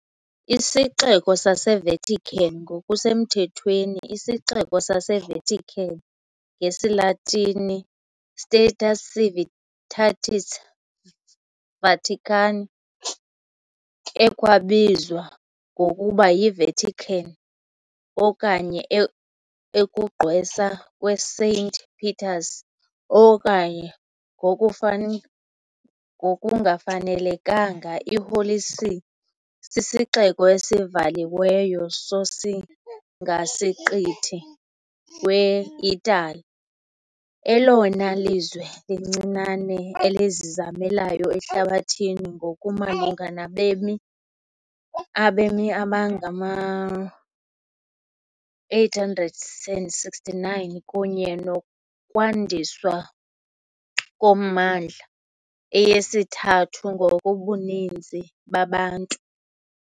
IsiXeko saseVatican, ngokusemthethweni iSixeko saseVatican, ngesiLatini, "Status Civitatis Vaticanae", ekwabizwa ngokuba yiVatican, okanye ukugqwesa kweSaint Peter's, okanye ngokufanele ngokungafanelekanga "iHoly See", sisixeko esivaliweyo sosingasiqithi weItali, elona lizwe lincinane elizimeleyo ehlabathini ngokumalunga nabemi, abemi abangama-869 kunye nokwandiswa kommandla, eyesithathu ngokobuninzi babantu.